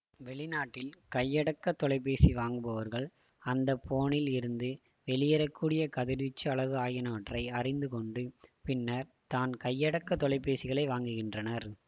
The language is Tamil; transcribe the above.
வெளிநாட்டில் கையடக்க தொலைபேசி வாங்குபவர்கள் அந்த போனில் இருந்து வெளியேறக்கூடிய கதிர்வீச்சு அளவு ஆகியனவற்றை அறிந்து கொண்டு பின்னர் தான் கையடக்க தொலைபேசிகளை வாங்குகின்றனர்